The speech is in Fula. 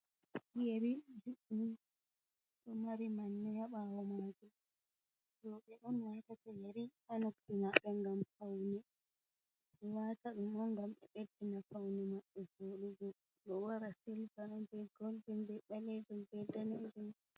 Yeri juɗɗum do mari manne ha bawo majum roɓe on watata yeri ha nuppi mabɓe ngam faune, be wataɗum on ngam ɓe ɓeddina faune maɓbe voɗugo ɗo wara silva be golden be balejum be dane jum.